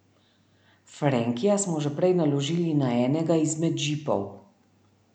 Frenkija smo že prej naložili na enega izmed džipov.